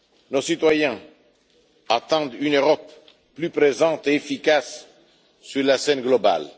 Nos citoyens attendent une Europe plus présente et efficace sur la scène mondiale.